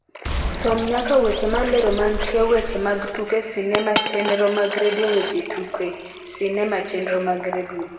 som nyaka weche malero mantie weche mag tuke sinema chenro mag redio weche tuke sinema chenro mag redio